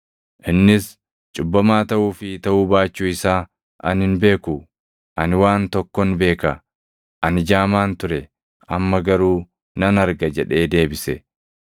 Innis, “Cubbamaa taʼuu fi taʼuu baachuu isaa ani hin beeku. Ani waan tokkon beeka. Ani jaamaan ture; amma garuu nan arga!” jedhee deebise.